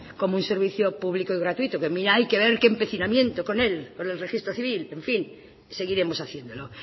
como un servicio público y gratuito que mira hay que ver qué empecinamiento con él con el registro civil en fin seguiremos haciéndolo